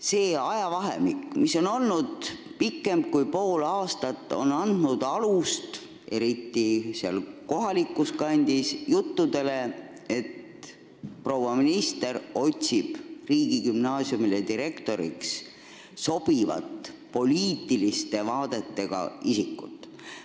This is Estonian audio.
See ajavahemik, mis on olnud pikem kui pool aastat, on andnud alust juttudele – eriti seal kohalikus kandis –, et proua minister otsib riigigümnaasiumile direktoriks sobivate poliitiliste vaadetega isikut.